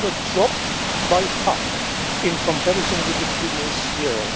The number was down by half in comparison with the previous years.